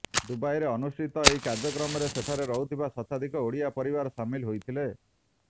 ଦୁବାଇରେ ଅନୁଷ୍ଠିତ ଏହି କାର୍ଯ୍ୟକ୍ରମରେ ସେଠାରେ ରହୁଥିବା ଶତାଧିକ ଓଡ଼ିଆ ପରିବାର ସାମିଲ ହୋଇଥିଲେ